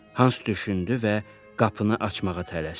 Hans düşündü və qapını açmağa tələsdi.